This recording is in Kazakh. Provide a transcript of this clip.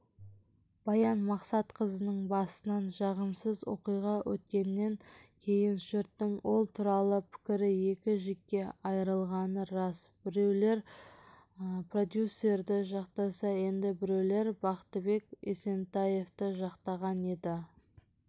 баян мақсатқызының басынан жағымсызоқиға өткеннен кейінжұрттың ол туралы пікірі екі жікке айырылғаны рас біреулерпродюсерді жақтаса енді біреулербақытбек есентаевты жақтаған еді